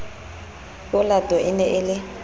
olato e ne e le